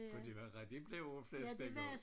For det var rigtig blævreflæsk dengang